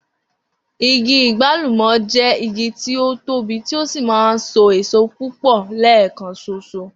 Igi àgbálùmò̩ jé̩ igi tí ó tóbi tí ó sì máa ń so èso púpò̩ lé̩è̩kan s̩os̩o